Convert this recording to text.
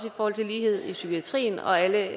i forhold til lighed i psykiatrien og alle